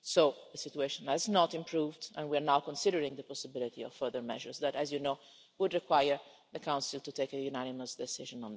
So, the situation has not improved and we are now considering the possibility of further measures that, as you know, would require the Council to take a unanimous decision.